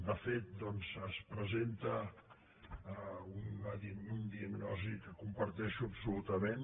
de fet es presenta un diagnòstic que comparteixo absolutament